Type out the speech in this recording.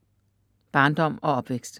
Barndom og opvækst